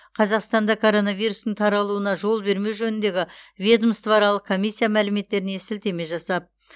қазақстанда коронавирустың таралуына жол бермеу жөніндегі ведомствоаралық комиссия мәліметтеріне сілтеме жасап